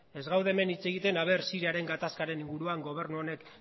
ez gaude hemen hitz egiten siriaren gatazkaren inguruan gobernu honek